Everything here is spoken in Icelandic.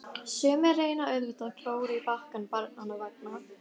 Sumir reyna auðvitað að klóra í bakkann barnanna vegna.